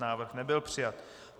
Návrh nebyl přijat.